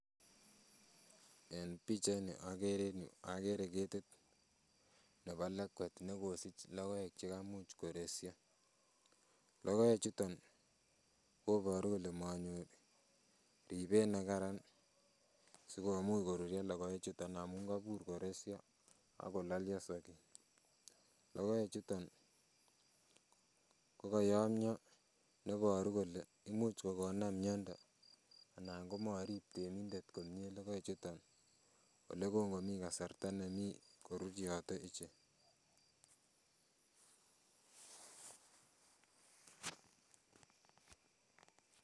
En pichait ni okere en yuu okere ketit nebo lekwet nekosich logoek chekomuch koresyo, logoek chuton koboru kole manyor ribet nekaran sikomuch korure logoek chuton amun kobur koresyo akololio soiti Logoek chuton kokoyomio neboru kole imuch kokonam miondo anan komorib temindet komie logoek chuton olekongomii kasarta nemii koruryote ichek.